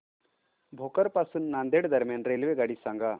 भोकर पासून नांदेड दरम्यान रेल्वेगाडी सांगा